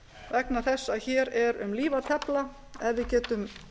vegna þess að hér er um líf að tefla ef við getum